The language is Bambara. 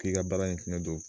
K'i ka baara ɲɛsinnen don